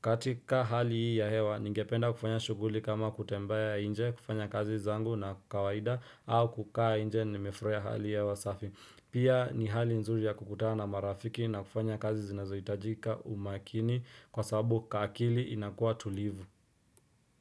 katika hali hii ya hewa, ningependa kufanya shughuli kama kutembea nje kufanya kazi zangu na kwa kawaida au kukaa nje nimefurahia hali ya hewa safi Pia ni hali nzuri ya kukutana marafiki na kufanya kazi zinazohitajika umaakini Kwa sababu akili inakuwa tulivu.